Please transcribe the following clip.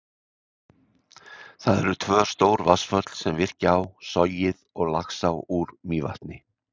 Það eru tvö stór vatnsföll, sem virkja á, Sogið og Laxá úr Mývatni.